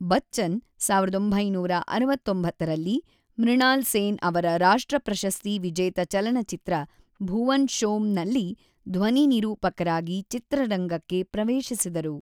ಬಚ್ಚನ್,೧೯೬೯ರಲ್ಲಿ ಮೃಣಾಲ್ ಸೇನ್ ಅವರ ರಾಷ್ಟ್ರ ಪ್ರಶಸ್ತಿ ವಿಜೇತ ಚಲನಚಿತ್ರ ಭುವನ್ ಶೋಮ್ ನಲ್ಲಿ ಧ್ವನಿ ನಿರೂಪಕರಾಗಿ ಚಿತ್ರರಂಗಕ್ಕೆ ಪ್ರವೇಶಿಸಿದರು.